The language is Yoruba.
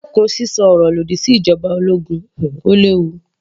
Dẹ́kun sísọ ọ̀rọ̀ lòdì sí ìjoba ológun, ó léwu.